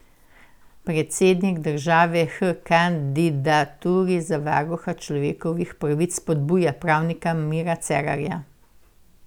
Predsednik države h kandidaturi za varuha človekovih pravic spodbuja pravnika Mira Cerarja.